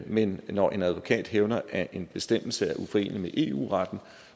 men når en advokat hævder at en bestemmelse er uforenelig med eu retten